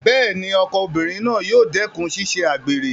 Bẹ́ẹ̀ni, ọkọ obìnrin náà yóò dẹ́kùn ṣíṣe àgbèrè